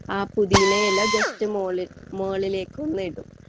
പുതിയനയില just മുകളിക്കൊന്ന് ഇടും